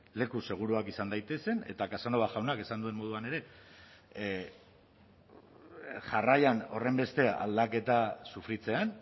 leku seguruak izan daitezen eta casanova jaunak esan duen moduan ere jarraian horrenbeste aldaketa sufritzean